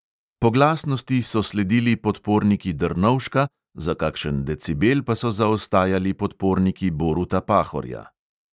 Po glasnosti so sledili podporniki drnovška, za kakšen decibel pa so zaostajali podporniki boruta pahorja.